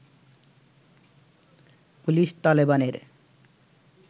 police তালেবানের